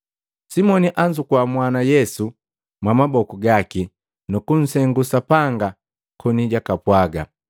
Simoni anzukua mwana Yesu mwamaboku gaki nukunsengu Sapanga koni jwakapwaga,